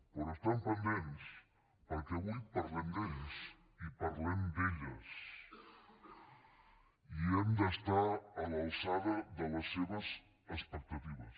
però n’estan pendents perquè avui parlem d’ells i parlem d’elles i hem d’estar a l’alçada de les seves expectatives